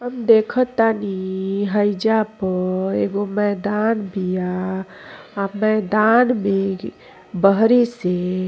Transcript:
हम देखातनी हइजा पर एगो मैदान बिया मैदान में बहरी से --